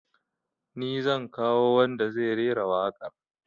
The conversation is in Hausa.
Ni zan kawo wanda zai rera waƙar